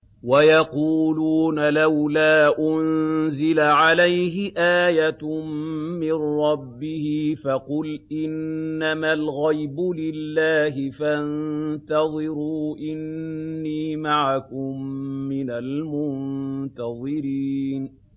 وَيَقُولُونَ لَوْلَا أُنزِلَ عَلَيْهِ آيَةٌ مِّن رَّبِّهِ ۖ فَقُلْ إِنَّمَا الْغَيْبُ لِلَّهِ فَانتَظِرُوا إِنِّي مَعَكُم مِّنَ الْمُنتَظِرِينَ